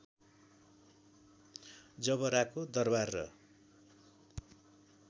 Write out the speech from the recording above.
ज‍बराको दरवार र